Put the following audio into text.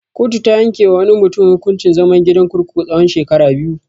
Kotu ta yanke wa wani mutun hukuncin zaman gidan kurkuku tsawan shekara biyu.